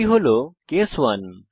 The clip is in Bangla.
এটি কেস 1